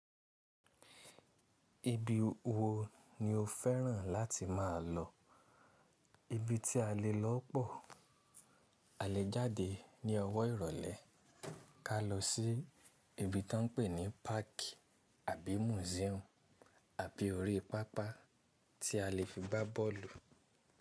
Ibi wo ni o fẹ́ràn láti má a lọ? Ibi tí a lè lọ pọ̀, a lè jáde ní ọwọ́ ìrọ̀lẹ́ ká lọ sí ibi tán ń pè ní páàkì àbí mùsíúmù àbí orí pápá tí a lè fi gbá bọ́ọ̀lù.